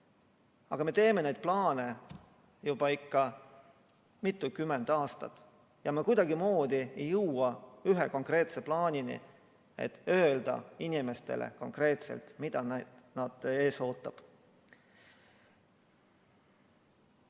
Aga me teeme neid plaane juba mitukümmend aastat ja me kuidagimoodi ei jõua ühe konkreetse plaanini, et öelda inimestele konkreetselt, mis neid ees ootab.